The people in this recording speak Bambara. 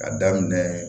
Ka daminɛ